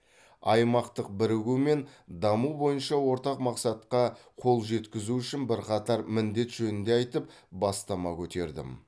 аймақтық бірігу мен даму бойынша ортақ мақсатқа қол жеткізу үшін бірқатар міндет жөнінде айтып бастама көтердім